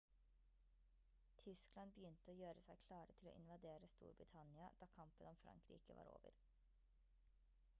tyskland begynte å gjøre seg klare til å invadere storbritannia da kampen om frankrike var over